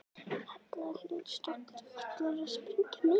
Erla Hlynsdóttir: Ætlarðu að sprengja mikið?